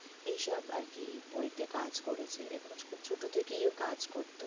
এই সব আর কি বই তে কাজ করেছে, এবং খুব ছোট থেকেই ও কাজ করতো।